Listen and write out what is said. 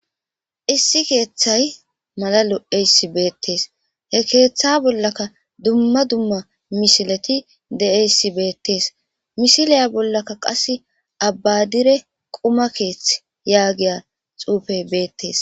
Issi keeththay malalo eyssi beettees he keeththa bollaka dumma dumma mishileti de'eyssi beettees mishiliya bollaka qas abbadire quma keethth yaagiya xuufey beettees